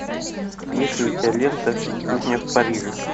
есть ли у тебя лента кухня в париже